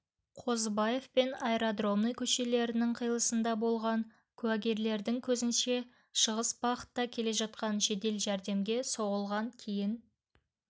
қазыбаев пен аэродромной көшелерінің қиылысында болған куәгерлердің сөзінше шығыс бағытта келе жатқан жедел жәрдемге соғылған кейін